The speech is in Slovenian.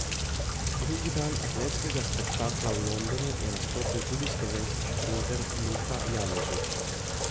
Drugi dan atletskega spektakla v Londonu je nastopil tudi slovenski šprinter Luka Janežič.